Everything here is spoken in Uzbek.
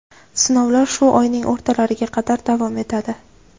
Sinovlar shu oyning o‘rtalariga qadar davom etadi.